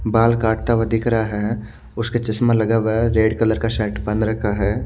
बाल काटता हुआ दिख रहा है उसके चशमा लगा हुआ है रेड कलर का शर्ट पहन रखा है।